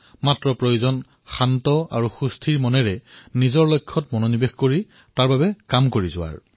মাত্ৰ আমি শান্ত হৈ থকাটো আৰু স্থিৰ মনেৰে নিজৰ লক্ষ্য নিৰ্ধাৰণ কৰি সেই সন্দৰ্ভত কাম কৰাটো প্ৰয়োজন